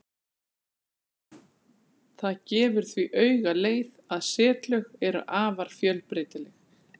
Það gefur því auga leið að setlög eru afar fjölbreytileg.